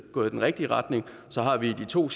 gået i den rigtige retning så har vi de to